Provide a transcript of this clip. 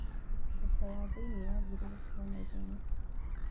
Thoko ya thĩinĩ yanjirie gũkũra naihenya.